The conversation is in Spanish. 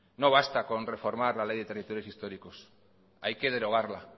no basta con reformar la ley de territorios históricos hay que derogarla